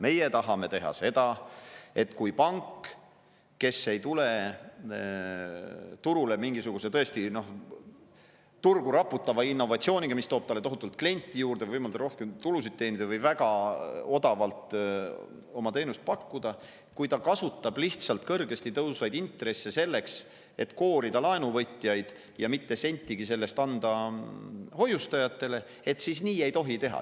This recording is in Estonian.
Meie tahame seda, et kui pank ei ole turule tulnud mingisuguse tõesti turgu raputava innovatsiooniga, mis tooks talle tohutult kliente juurde või võimaldaks rohkem tulusid teenida või väga odavalt oma teenust pakkuda, ta lihtsalt kasutab kõrgele tõusnud intresse selleks, et koorida laenuvõtjaid ja mitte sentigi sellest ei anna hoiustajatele, nii ei tohi teha.